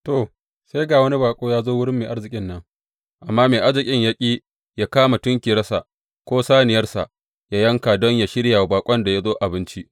To, sai ga wani baƙo ya zo wurin mai arzikin nan, amma mai arzikin ya ƙi yă kama tunkiyarsa, ko saniyarsa yă yanka don yă shirya wa baƙon da ya zo abinci.